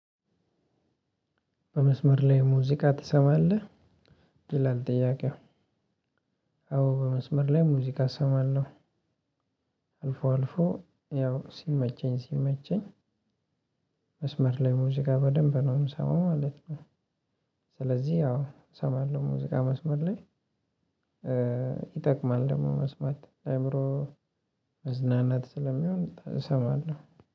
በመስመር ላይ ሙዚቃ ትሰማለህ ይላል ጥያቄው? አዎ በመስመር ላይ ሙዚቃ እሰማለሁ። አልፎ አልፎ ያው ሲመቸኝ ሲመቸኝ። መስመር ላይ ሙዚቃ በደንብ ነው የምሰማው ማለት ነው። ስለዚህ አዎ እሰማለሁ ሙዚቃ መስመር ላይ። ይጠቅማል ደግሞ መስማት ለአእምሮ መዝናናት ስለሚሆን እሰማለሁ።